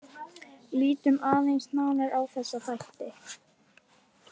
Lítum aðeins nánar á þessa þætti.